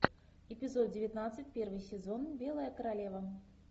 эпизод девятнадцать первый сезон белая королева